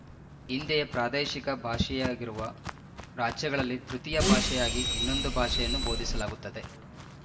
ಹಿಂದೆಯೇ ಪ್ರಾದೇಶಿಕ ಭಾಷೆಯಾಗಿರುವ ರಾಜ್ಯಗಳಲ್ಲಿ ತೃತೀಯ ಭಾಷೆಯಾಗಿ ಇನ್ನೊಂದು ಭಾಷೆಯನ್ನು ಬೋಧಿಸಲಾಗುತ್ತದೆ